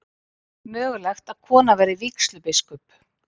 Mögulegt að kona verði vígslubiskup